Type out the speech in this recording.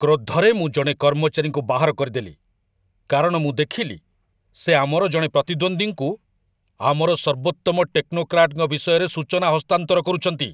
କ୍ରୋଧରେ ମୁଁ ଜଣେ କର୍ମଚାରୀଙ୍କୁ ବାହାର କରିଦେଲି, କାରଣ ମୁଁ ଦେଖିଲି ସେ ଆମର ଜଣେ ପ୍ରତିଦ୍ୱନ୍ଦ୍ୱୀଙ୍କୁ ଆମର ସର୍ବୋତ୍ତମ ଟେକ୍ନୋକ୍ରାଟଙ୍କ ବିଷୟରେ ସୂଚନା ହସ୍ତାନ୍ତର କରୁଛନ୍ତି!